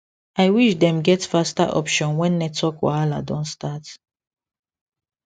i wish dem get faster option when network wahala don start